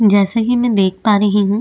जैसा की मै देख पा रही हूँ।